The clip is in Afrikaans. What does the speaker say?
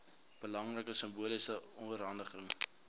belangrike simboliese oorhandiging